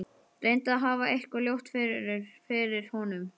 Reyndi að hafa eitthvað ljótt fyrir honum.